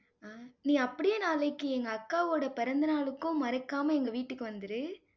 அஹ் நீ அப்படியே நாளைக்கு எங்க அக்காவோட பிறந்த நாளுக்கும் மறக்காம எங்க வீட்டுக்கு வந்துரு.